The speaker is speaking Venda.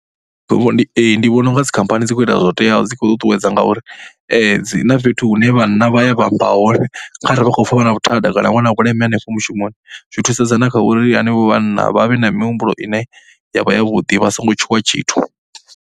Ndi ee, ndi vhona u nga dzikhamphani dzi khou ita zwo teaho dzi khou ṱuṱuwedza ngauri dzi na fhethu hune vhanna vha ya vha amba hone kha ri vha khou pfha vha na vhuthada kana vha na vhuleme hanefho mushumoni. Zwi thusedza na kha uri hanevho vhanna vha vhe na mihumbulo ine ya vha yavhuḓi vha songo tshuwa tshithu.